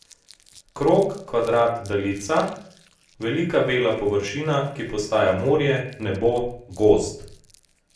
Krog, kvadrat, daljica, velika bela površina, ki postaja morje, nebo, gozd.